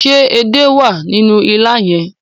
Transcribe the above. Ṣé edé wà nínú ilá yẹn?